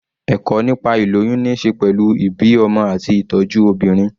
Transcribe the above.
Ẹ̀kọ́ nípa ìlóyún ní ṣe pẹ̀lú ìbí ọmọ àti ìtọ́jú obìnrin.